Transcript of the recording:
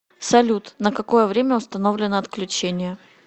салют на какое время установлено отключение